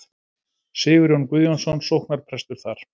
Sigurjón Guðjónsson sóknarprestur þar.